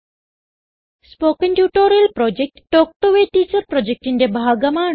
spoken tutorial project talk to a teacher പ്രൊജക്റ്റിന്റെ ഭാഗമാണ്